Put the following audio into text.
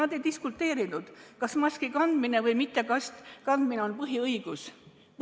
Nad ei diskuteerinud, kas maski kandmine või mittekandmine on põhiõigus.